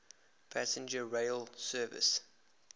passenger rail service